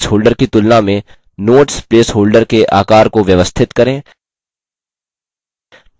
slide text holder की तुलना में notes place holder के आकार को व्यवस्थित करें